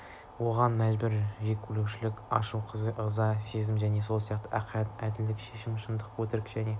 оған махаббат жеккөрушілік ашу-кек ыза сезімі және сол сияқты ақиқат әділдік сезімі шындық өтірік және